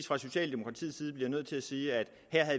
fra socialdemokratiets side nødvendigvis bliver nødt til at sige at